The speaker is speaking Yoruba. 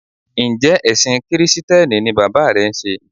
Njẹ́ ẹ̀ṣìn Kìrìsìtíẹ́nì ni bàbá rẹ ń sé?